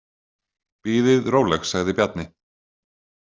Bíðið róleg, sagði Bjarni.